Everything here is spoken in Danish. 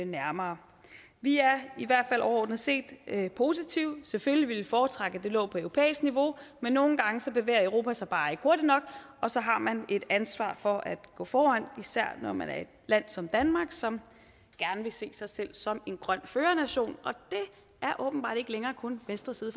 nærmere vi er i hvert fald overordnet set positive selvfølgelig ville vi foretrække at det lå på europæisk niveau men nogle gange bevæger europa sig bare ikke hurtigt nok og så har man et ansvar for at gå foran især når man er et land som danmark som gerne vil se sig selv som en grøn førernation og det er åbenbart ikke længere kun venstre side